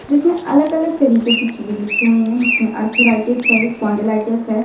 जिसमें अलग अलग तरीके की चीज़ लिखी हुई है जिसमें अर्थराइट्स है स्पॉन्डिलाइटिस है।